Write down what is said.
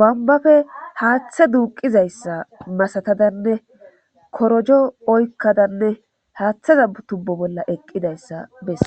bambafe haaththe duuqizayssa masatadanne korojo oykkadanne haaththeza tubbo bolla eqqidayssa besse